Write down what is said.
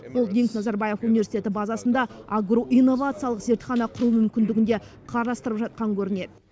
холдинг назарбаев университеті базасында агроинновациялық зертхана құру мүмкіндігін де қарастырып жатқан көрінеді